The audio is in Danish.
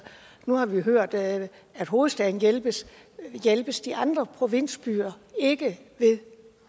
nu har vi jo hørt at hovedstaden hjælpes hjælpes de andre provinsbyer ikke ved